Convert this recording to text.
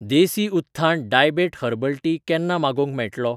देसी Utthan diabet herbal tea केन्ना मागोवंक मेळटलो?